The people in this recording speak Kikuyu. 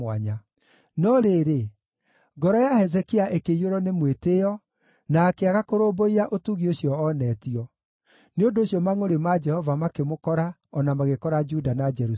No rĩrĩ, ngoro ya Hezekia ĩkĩiyũrwo nĩ mwĩtĩĩo na akĩaga kũrũmbũiya ũtugi ũcio oonetio; nĩ ũndũ ũcio mangʼũrĩ ma Jehova makĩmũkora o na magĩkora Juda na Jerusalemu.